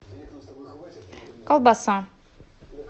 колбаса